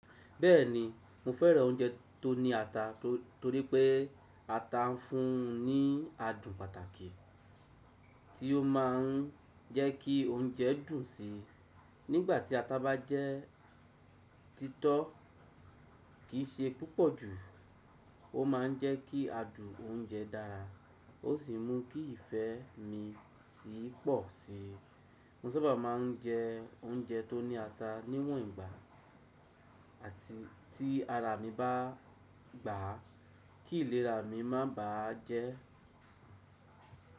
Bẹ́ẹ̀ni, mo fẹ́ràn oúnjẹ tó ní ata torí pé ata ń fún ní adùn pàtàkì tí ó máa ń jẹ́ kí oúnjẹ dùn sí. Nígbà tí ata bá jẹ́ títọ́ kì í ṣe púpọ̀ jù, ó máa ń jẹ́ kí adùn oúnjẹ dára, ó sì mú kí ìfẹ́ mi sí pọ̀ sí i. Mo sábà ma ń jẹ oúnjẹ tó ní ata níwòn ìgbà àti tí ara mi bá gbà á, kí ìlera mi má bà á jẹ́.